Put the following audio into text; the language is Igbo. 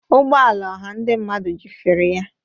Ụgbọ ala ọha ndị mmadụ jụfere ya.